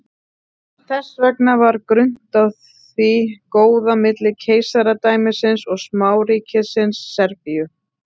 Þess vegna var grunnt á því góða milli keisaradæmisins og smáríkisins Serbíu.